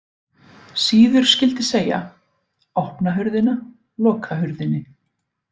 Síður skyldi segja: opna hurðina, loka hurðinni